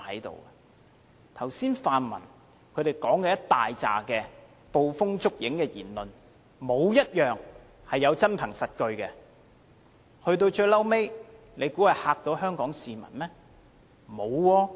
剛才泛民大量的捕風捉影的言論，沒有一點是有真憑實據的，可以嚇倒香港市民嗎？